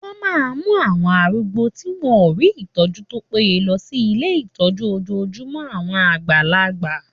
Wọ́n máa mú àwọn arúgbó tí wọ́n ò rí ìtọ́jú tó péye lọ sí ilé ìtọ́jú ojojúmọ́ àwọn àgbàlagbà.